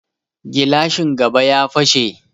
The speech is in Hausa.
Gilashin gaba ya fashe